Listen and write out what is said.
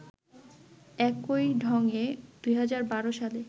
একই ঢঙে ২০১২ সালে